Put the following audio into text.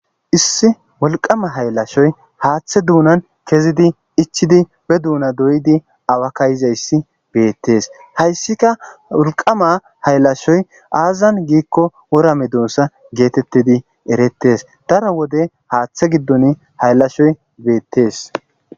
issi wolqama hayllashoy haaththe duunan kezidi ichidi be duuna doydi awakka yizayssi beettees hayssika wolqama haylashoy aazazan giikko wora midoosa geetettidi erettes daro wode haaththe giddon hayllashoy beettes